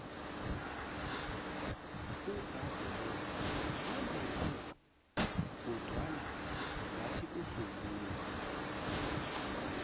uudade lo wembethe kodwana ngathi uhlubule